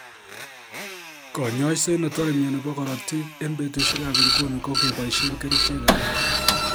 Konyoiset netore myoni bo korotik en betusiek ab inguni koboisien kerichek alak